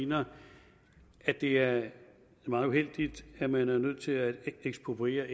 mener at det er meget uheldigt at man er nødt til at ekspropriere